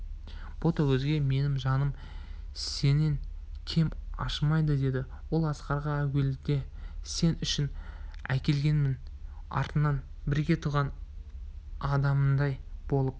ботагөзге менің жаным сенен кем ашымайды деді ол асқарға әуелде сен үшін әкелгенмен артынан бірге туған адамымдай болып